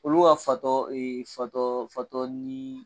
Olu ka fatɔ fatɔ fatɔ ni.